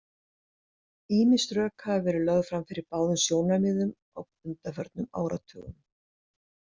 Ýmis rök hafa verið lög fram fyrir báðum sjónarmiðum á undanförnum áratugum.